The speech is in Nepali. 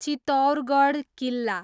चित्तौरगढ किल्ला